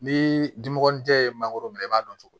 Ni dimɔgɔnin tɛ mangoro minɛ i b'a dɔn cogo di